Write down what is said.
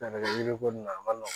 yiri ko nin na a man nɔgɔn